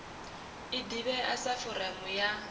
i ḓivhea sa foramu ya